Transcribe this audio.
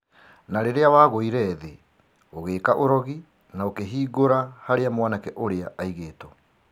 Na rĩrĩa wagũire thĩ ũgĩĩka ũrogi na ũkĩhingũra harĩa mwanake ũrĩa aigĩtwo.